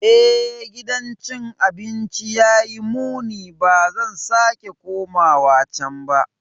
Eh, gidan cin abinci ya yi muni - ba zan sake komawa can ba.